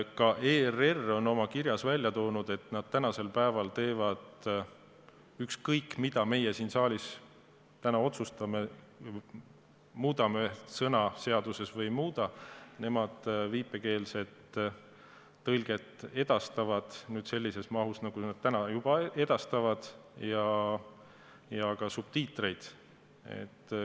Ka ERR on oma kirjas välja toonud, et nad tänasel päeval – ükskõik, mida meie siin saalis täna otsustame, muudame sõna seaduses või ei muuda – viipekeelset tõlget edastavad sellises mahus, nagu nad juba edastavad, ja kasutavad ka subtiitreid.